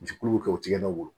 Jigi kulu kɛ u tigɛlaw bolo